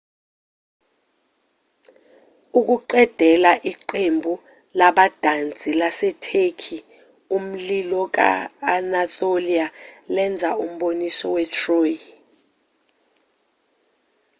ukuqedela iqembu labadansi lasetheki umlilo ka-anatolia lenza umboniso we- troy